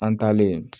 An taalen